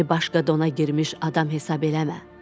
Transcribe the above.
Məni başqa dona girmiş adam hesab eləmə.